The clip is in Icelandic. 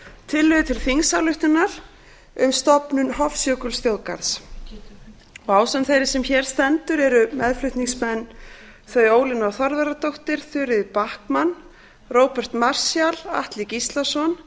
tillögu til þingsályktunar um stofnun hofsjökulsþjóðgarðs ásamt þeirri sem hér stendur eru meðflutningsmenn þau ólína þorvarðardóttir þuríður backman róbert marshall atli gíslason